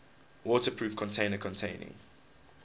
waterproof container containing